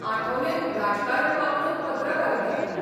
आठवलेन राजकारण वापरून पत्रकारिता केली.